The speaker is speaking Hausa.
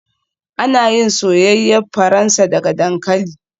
Ana yin soyayyen Faransa daga dankali